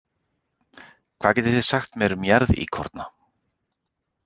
Hvað getið þið sagt mér um jarðíkorna?